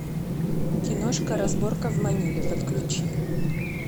киношка разборка в маниле подключи